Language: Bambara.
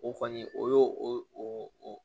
O kɔni o y'o o